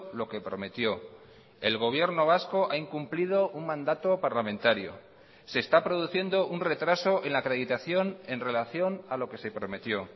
lo que prometió el gobierno vasco ha incumplido un mandato parlamentario se está produciendo un retraso en la acreditación en relación a lo que se prometió